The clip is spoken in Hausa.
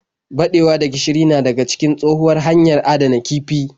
Baɗewa da gishiri na da cikin tshohuwar hanyar adana kifi.